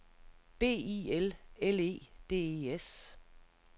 B I L L E D E S